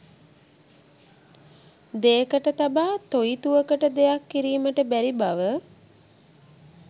දෙයකට තබා තොඉතුවකට දෙයක් කිරීමට බැරිබව